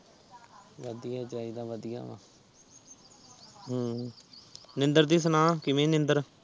ਵਧੀਆ ਚਾਹੀਦਾ ਵਧੀਆ ਨੀਂਦਰ ਕਿ ਸਨ ਕਿਵੇਂ ਨੀਂਦਰ